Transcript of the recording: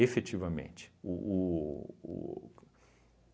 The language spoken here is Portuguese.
Efetivamente. O o o